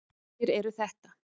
Hverjir eru þetta?